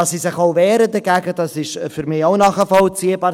Dass sie sich dagegen wehren, ist für mich auch nachvollziehbar.